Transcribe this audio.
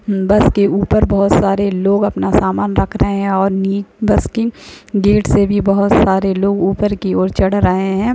बस के ऊपर बोहोत सारे लोग अपना सामान रख रहे हैं और नि- बस के गेट से भी बोहोत सारे लोग ऊपर की ओर चढ़ रहे हैं।